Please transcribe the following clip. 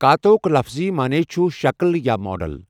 کاتا ہُک لفظی معنی چھُ 'شکل' یا 'ماڈل'.